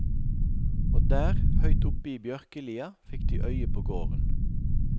Og der, høyt oppe i bjørkelia, fikk de øye på gården.